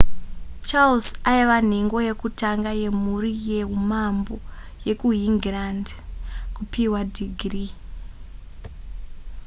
charles aiva nhengo yekutanga yemhuri yehumambo yekuhingirandi kupihwa dhigiri